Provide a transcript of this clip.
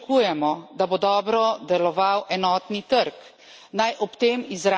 Brez tega težko pričakujemo, da bo dobro deloval enotni trg.